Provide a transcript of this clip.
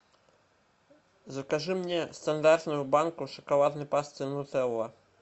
закажи мне стандартную банку шоколадной пасты нутелла